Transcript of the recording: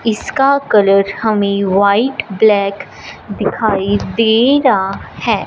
इसका कलर हमें white black दिखाई दे रहा है।